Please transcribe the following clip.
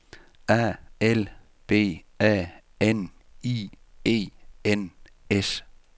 A L B A N I E N S